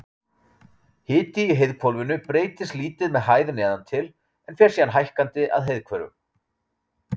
Hiti í heiðhvolfinu breytist lítið með hæð neðan til, en fer síðan hækkandi að heiðhvörfum.